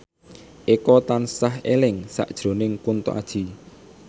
Eko tansah eling sakjroning Kunto Aji